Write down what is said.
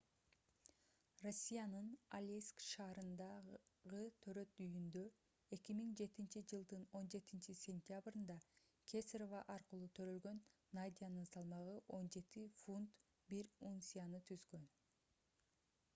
россиянын алейск шаарындагы төрөт үйүндө 2007-жылдын 17-cентябрында кесарево аркылуу төрөлгөн надянын салмагы 17 фунт 1 унцияны түзгөн